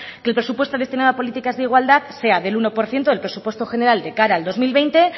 que el presupuesto destinado a políticas de igualdad sea del uno por ciento del presupuesto general de cara al dos mil veinte